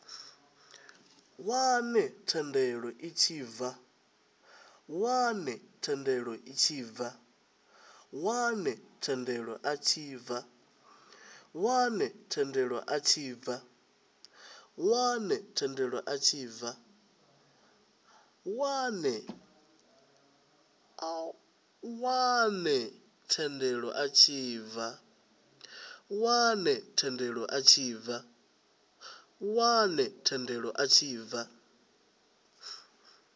wane thendelo a tshi bva